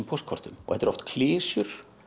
póstkortum þetta eru oft klisjur